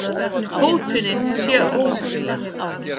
Hótunin sé óheppileg